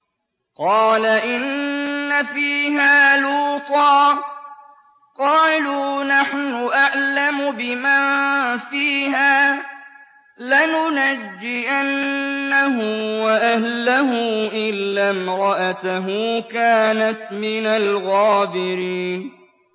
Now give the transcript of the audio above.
قَالَ إِنَّ فِيهَا لُوطًا ۚ قَالُوا نَحْنُ أَعْلَمُ بِمَن فِيهَا ۖ لَنُنَجِّيَنَّهُ وَأَهْلَهُ إِلَّا امْرَأَتَهُ كَانَتْ مِنَ الْغَابِرِينَ